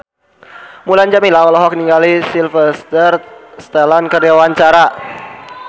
Mulan Jameela olohok ningali Sylvester Stallone keur diwawancara